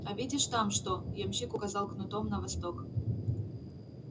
а видишь там что ямщик указал кнутом на восток